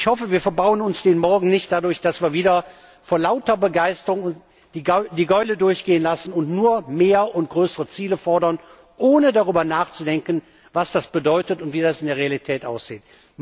leisten. Ich hoffe, wir verbauen uns den morgen nicht dadurch, dass wir wieder vor lauter Begeisterung die Gäule durchgehen lassen und nur mehr und größere Ziele fordern, ohne darüber nachzudenken, was das bedeutet und wie das in der Realität